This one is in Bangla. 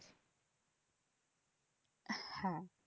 আহ হ্যাঁ